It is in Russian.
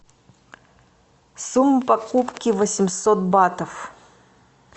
сумма покупки восемьсот батов